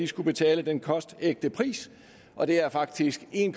skulle betale den kostægte pris og det er faktisk en